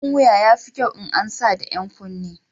Abun wuya yafi kyau in an sa da 'yan kunne.